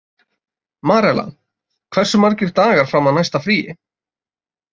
Marela, hversu margir dagar fram að næsta fríi?